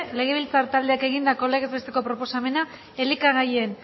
legebiltzar taldeak egondako legez besteko proposamena elikagaien